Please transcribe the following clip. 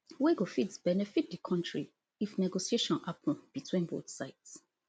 wey go fit benefit di country if negotiation happun between both sides